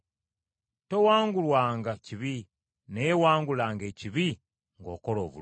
Towangulwanga kibi, naye wangulanga ekibi ng’okola obulungi.